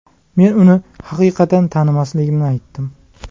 Men uni haqiqatan tanimasligimni aytdim.